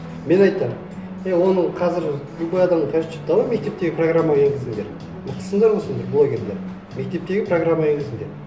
мен айтамын е оның қазір любой адам короче давай мектептерге программа енгізіңдер мықтысыңдар ғой сендер блогерлер мектептерге программа енгізіңдер